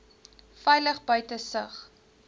veilig buite sig